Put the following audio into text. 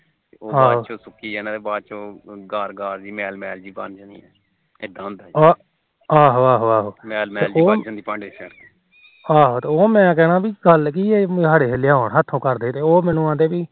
ਆਹੋ ਉਹ ਮੈਨੂੰ ਕਹਿਣਾ ਗੱਲ ਕੀ ਆ ਉਹ ਮੈਨੂੰ ਕਹਿੰਦੇ ਪੀ